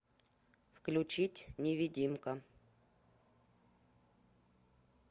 включить невидимка